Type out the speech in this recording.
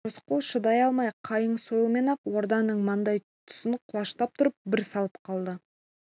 рысқұл шыдай алмай қайың сойылмен ақ орданың маңдай тұсын құлаштап тұрып бір салып қалды